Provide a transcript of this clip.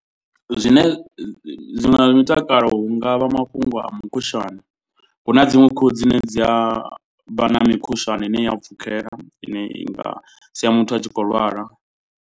Zwine zwi nga mutakalo hu ngavha mafhungo a mukhushwane. Hu na dziṅwe khuhu dzine dzi a vha na mikhushwane ine i a pfhukhela ine i nga sia muthu a tshi khou lwala.